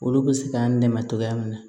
Olu bɛ se k'an dɛmɛ cogoya min na